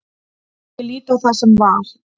Ég lít á það sem val.